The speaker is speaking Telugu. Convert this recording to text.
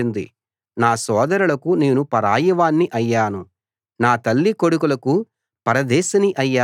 నా సోదరులకు నేను పరాయివాణ్ణి అయ్యాను నా తల్లి కొడుకులకు పరదేశిని అయ్యాను